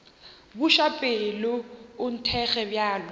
buša pelo o nthekge bjalo